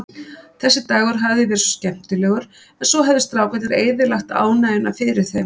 Þessi dagur hafði verið svo skemmtilegur, en svo höfðu strákarnir eyðilagt ánægjuna fyrir þeim.